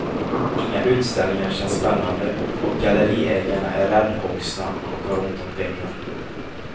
Inga utställningar känns spännande och galleriägarna är räddhågsna och har ont om pengar.